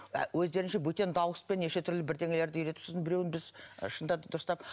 өздерінше бөтен дауыспен неше түрлі бірдеңелерді үйретіп сосын беруін біз шындатып дұрыстап